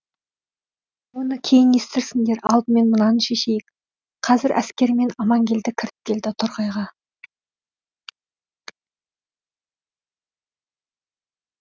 оны кейін естірсіңдер алдымен мынаны шешейік қазір әскерімен аманкелді келіп кіреді торғайға